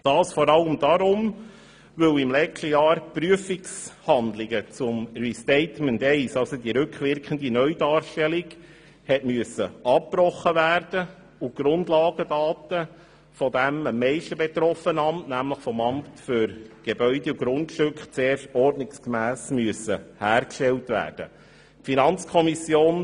Dies vor allem deshalb, weil im letzten Jahr die Prüfungshandlungen zum Restatement I, also die rückwirkende Neudarstellung, abgebrochen werden mussten, und die Grundlagedaten in dem am meisten davon betroffenen Amt für Grundstücke und Gebäude (AGG) zuerst ordnungsgemäss hergestellt werden müssen.